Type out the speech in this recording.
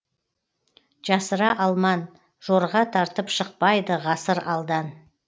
жасыра алман жорға тартып шықпайды ғасыр алдан